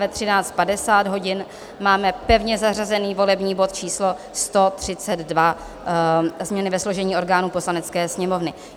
V 13.50 hodin máme pevně zařazený volební bod číslo 132, změny ve složení orgánů Poslanecké sněmovny.